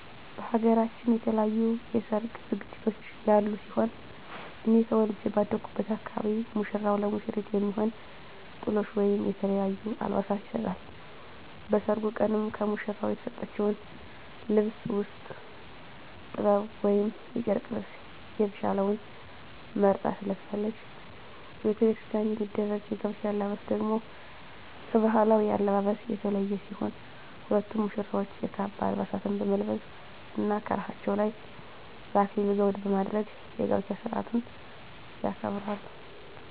በሃገራችን የተለያዩ የሰርግ ዝግጅቶች ያሉ ሲሆን እኔ ተወልጀ ባደኩበት አካባቢ ሙሽራው ለሙሽሪት የሚሆን ጥሎሽ ወይም የተለያዩ አልባሳትን ይሰጣል። በሰርጉ ቀንም ከሙሽራው የተሰጠችውን ልብስ ውስጥ ጥበብ ወይም የጨርቅ ልብሰ የተሻለውን መርጣ ትለብሳለች። በቤተክርስቲያን የሚደረግ የጋብቻ አለባበስ ደግሞ ከባህላዊው አለባበስ የተለየ ሲሆን ሁለቱም ሙሽራዎች የካባ አልባሳትን በመልበስ እና ከራሳቸው ላይ የአክሊል ዘውድ በማድረግ የጋብቻ ስርአቱን ያከብራሉ።